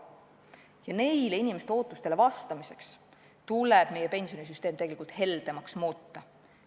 Ja nendele inimeste ootustele vastamiseks tuleb meie pensionisüsteem heldemaks muuta.